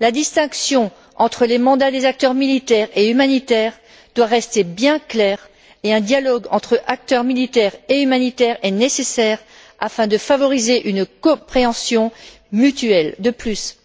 La distinction entre les mandats des acteurs militaires et humanitaires doit rester bien claire et un dialogue entre acteurs militaires et humanitaires est nécessaire afin de favoriser une compréhension mutuelle. De plus,